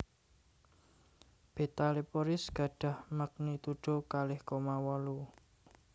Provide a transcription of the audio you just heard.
Beta Leporis gadhah magnitudo kalih koma wolu